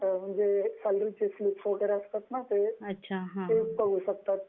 म्हणजे सॅलरी चे स्लिप्स वगैरे असतात ना, ते बघू शकतात